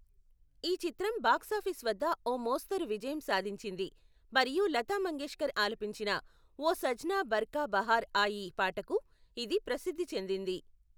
ఈ చిత్రం బాక్సాఫీస్ వద్ద ఓ మోస్తరు విజయం సాధించింది, మరియు లతా మంగేష్కర్ ఆలపించిన ఓ సజ్నా బర్ఖా బహార్ ఆయీ పాటకు ఇది ప్రసిద్ధి చెందింది.